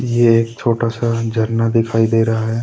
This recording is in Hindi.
ये एक छोटा सा झरना दिखाई दे रहा है।